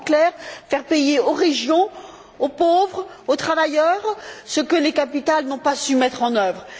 En clair faire payer aux régions, aux pauvres, aux travailleurs, ce que les capitales n'ont pas su mettre en œuvre.